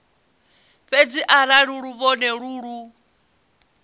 fhedzi arali luvhone lu lu